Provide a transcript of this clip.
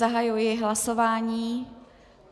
Zahajuji hlasování.